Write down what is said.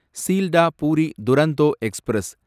Sealdah Puri Duronto express